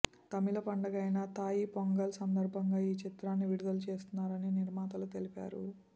తమిళ పండగైన తాయి పొంగల్ సందర్భంగా ఈ చిత్రాన్ని విడుదల చేస్తున్నారని నిర్మాతలు తెలిపారు